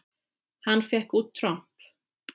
Hann fékk út tromp.